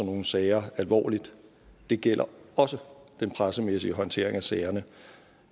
nogle sager alvorligt det gælder også den pressemæssige håndtering af sagerne